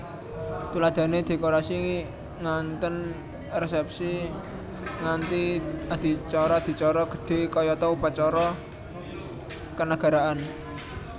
Tuladhane dekorasi nganten resépsi nganthi adicara adicara gedhé kayata upacara kenagaraan